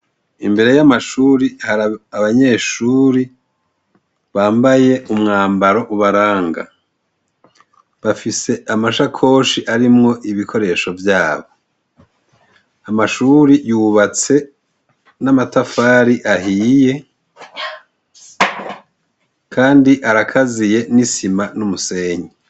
Imbere y'amashuri hari abanyeshuri bambaye umwambaro ubaranga bafise amashakoshi arimwo ibikoresho vyabo amashuri yubatse n'amatafari ahiye, kandi arakaziye n'isima n'umusenyi.